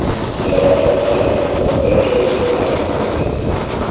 jarohat olib, voqea joyida halok bo‘lgan.